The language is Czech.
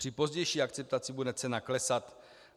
Při pozdější akceptaci bude cena klesat.